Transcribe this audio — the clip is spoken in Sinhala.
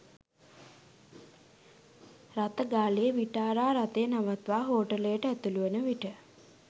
රථ ගාලේ විටාරා රථය නවත්වා හෝටලයට ඇතුළු වන විට